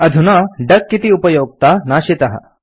अधुना डक इति उपयोक्ता नाशितः